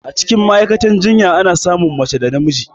Acikin Ma'aikatan jinya Ana samun mace da namiji